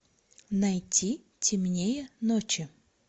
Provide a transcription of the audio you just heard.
найти темнее ночи